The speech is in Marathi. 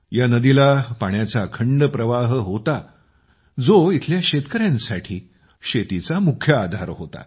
या नदीला पाण्याचा अखंड प्रवाह होता जो येथील शेतकऱ्यांसाठी शेतीचा मुख्य आधार होता